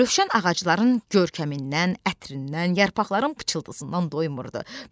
Rövşən ağacların görkəmindən, ətrindən, yarpaqların pıçıltısından doymurdu.